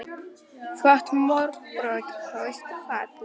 Þú átt mörg börn, hraust og falleg.